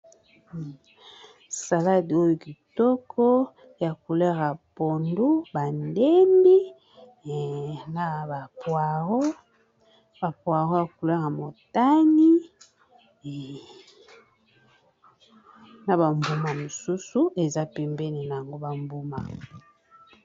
Saladi oyo kitoko ya couler ya pondu ba ndembi na ba poaro ya couler ya motani na ba mbuma mosusu eza pembeni na yango ba mbuma.